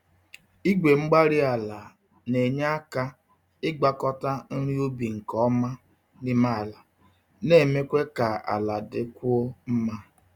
Igwe-mgbárí-ala na-enye aka ịgwakọta nri ubi nke ọma n'ime ala, na-eme ka ala dịkwuo mma.